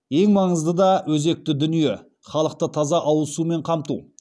ең маңызды да өзекті дүние халықты таза ауыз сумен қамту